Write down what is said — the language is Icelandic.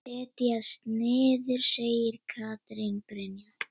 Setjast niður? segir Katrín Brynja.